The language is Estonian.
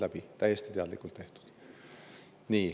See on täiesti teadlikult tehtud.